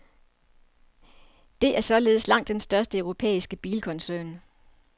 Det er således langt den største europæiske bilkoncern.